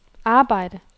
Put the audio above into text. arbejde